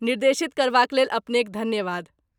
निर्देशित करबाक लेल अपनेक धन्यवाद।